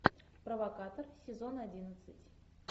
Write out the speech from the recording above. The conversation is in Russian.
провокатор сезон одиннадцать